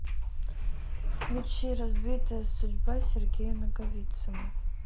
включи разбитая судьба сергея наговицына